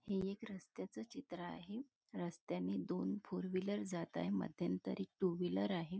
हे एक रस्त्याच चित्र आहे रस्त्याने दोन फोर व्हीलर जात आहे मध्यंतरी एक टू व्हीलर आहे.